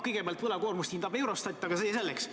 Kõigepealt, võlakoormust hindab Eurostat, aga see selleks.